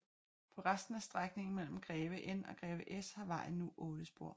På resten af strækningen mellem Greve N og Greve S har vejen nu otte spor